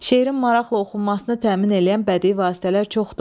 Şeirin maraqla oxunmasını təmin eləyən bədii vasitələr çoxdur.